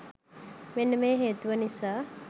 මෙන්න මේ හේතුව නිසා.